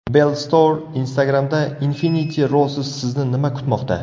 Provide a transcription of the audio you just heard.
Bellstore Instagram’da Infinity Roses Sizni nima kutmoqda?